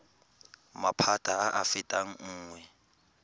maphata a a fetang nngwe